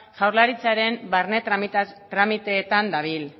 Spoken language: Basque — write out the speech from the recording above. jaurlaritzaren barne tramiteetan dadin